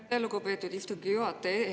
Aitäh, lugupeetud istungi juhataja!